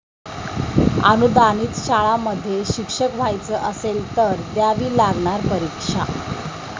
अनुदानित शाळांमध्ये शिक्षक व्हायचं असेल, तर द्यावी लागणार परीक्षा!